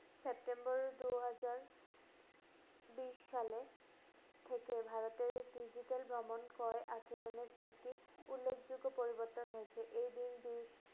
September দু হাজার বিশ সালে ক্ষতির ভারতীয় digital ভ্রমণ ক্রয় আচরণের একটি উল্লেখযোগ্য পরিবর্তন হয়েছে। এ বিল~ বিশ